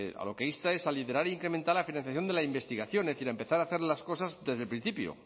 a lo que insta es a liderar e incrementar la financiación de la investigación es decir empezar a hacer las cosas desde el principio